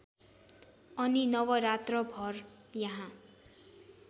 अनि नवरात्रभर यहाँ